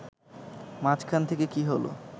মাঝখান থেকে কী হল